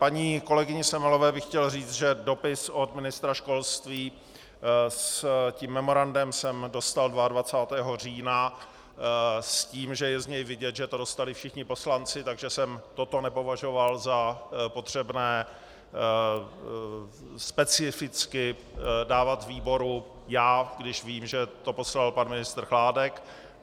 Paní kolegyni Semelové bych chtěl říct, že dopis od ministra školství s tím memorandem jsem dostal 22. října s tím, že je z něj vidět, že to dostali všichni poslanci, takže jsem toto nepovažoval za potřebné specificky dávat výboru já, když vím, že to poslal pan ministr Chládek.